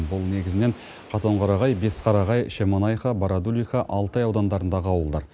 бұл негізінен қатонқарағай бесқарағай шемонаиха барадулиха алтай аудандарындағы ауылдар